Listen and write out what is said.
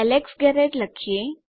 Alex Garrett લખીએ